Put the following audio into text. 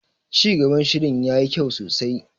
Cigaban shirin yayi kyau sosai.